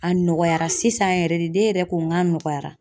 A nɔgɔyara sisan yɛrɛ de ne yɛrɛ ko n ka nɔgɔyara .